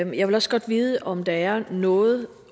jeg vil også godt vide om der er noget